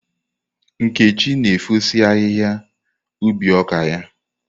Nkechi na efosi ahihia ubi ọka ya.